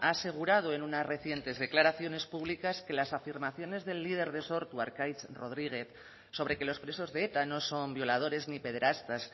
ha asegurado en unas recientes declaraciones públicas que las afirmaciones del líder de sortu arkaitz rodríguez sobre que los presos de eta no son violadores ni pederastas